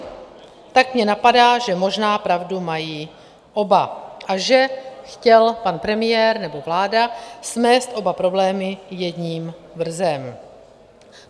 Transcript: Tak mě napadá, že možná pravdu mají oba a že chtěl pan premiér, nebo vláda, smést oba problémy jedním vrzem.